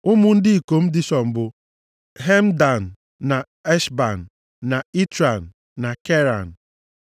Ụmụ ndị ikom Dishọn bụ, Hemdan na Eshban na Itran na Keran.